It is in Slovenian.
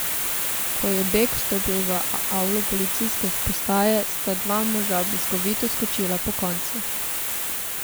Ko je Beg vstopil v avlo policijske postaje, sta dva moža bliskovito skočila pokonci.